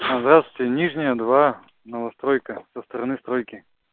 здравствуйте нижняя два новостройка со стороны стройки